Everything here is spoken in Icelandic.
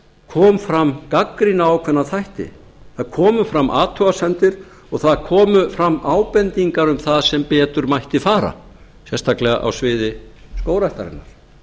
kom fram gagnrýni á ákveðna þætti það komu fram athugasemdir og það komu fram ábendingar um það sem betur mætti fara sérstaklega á sviði skógræktarinnar